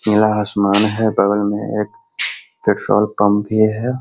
नीला आसमान है बगल में एक पेट्रोल पंप भी है।